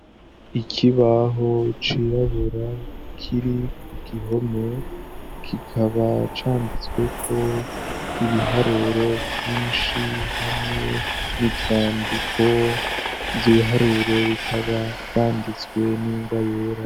Ikibaho cirabura kiri ku gihome kikaba canditsweko ibiharuro vyinshi hamwe n'ivyandiko ivyo ibiharuro bikaba vyanditswe n'ingwa yera.